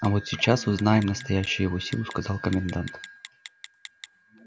а вот сейчас узнаем настоящую его силу сказал комендант